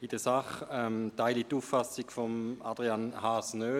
In der Sache teile ich die Auffassung von Adrian Haas nicht.